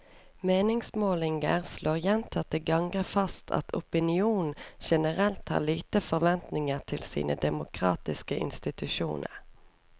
Meningsmålinger slår gjentatte ganger fast at opinionen generelt har lite forventninger til sine demokratiske institusjoner.